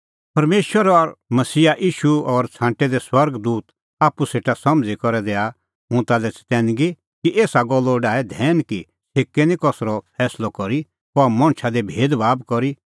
परमेशर और मसीहा ईशू और छ़ांटै दै स्वर्ग दूत आप्पू सेटा समझ़ी करै दैआ हुंह ताल्है चतैनगी कि एसा गल्लो डाहै धैन कि छ़ेकै निं कसरअ फैंसलअ करी और नां कहा मणछा दी भेदभाब करी